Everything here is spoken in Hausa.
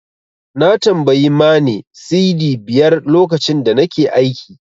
Na tambayi Mane Cedi biyar lokacin da nake aiki.